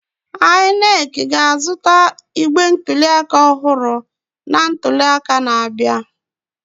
INEC ga-azụta igbe ntuliaka ọhụrụ na ntuliaka na-abịa.